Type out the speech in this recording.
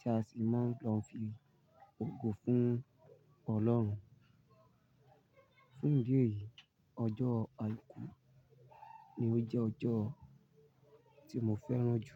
tí a sì máa ń lo ń fi ògo fún Ọlọ́run. Fún ìdí èyí, ọjọ́ àìkú ni ó jẹ́ ọjọ́ tí mo fẹ́ràn jù.